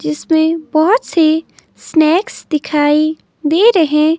जिसमें बहोत से स्नेक्स दिखाई दे रहे--